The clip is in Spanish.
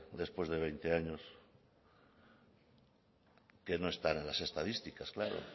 después de veinte años que no están en las estadísticas claro